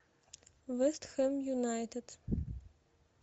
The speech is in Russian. вест хэм юнайтед